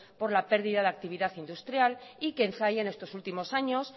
por la pérdida de actividad industrial y que en zalla en estos últimos años